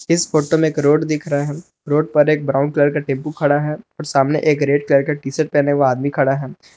इस फोटो में एक रोड दिख रहा है रोड पर एक ब्राउन कलर का टेंपू खड़ा है और सामने एक रेड कलर टी शर्ट पहने हुए आदमी खड़ा है।